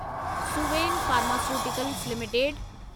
Suven pharmaceuticals limited